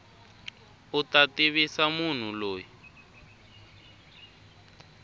u ta tivisa munhu loyi